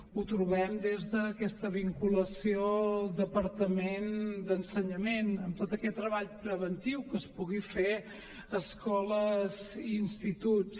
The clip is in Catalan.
ho trobem des d’aquesta vinculació al departament d’ensenyament en tot aquest treball preventiu que es pugui fer a escoles i instituts